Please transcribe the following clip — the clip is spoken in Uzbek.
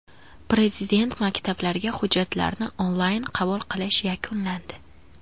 Prezident maktablariga hujjatlarni onlayn qabul qilish yakunlandi.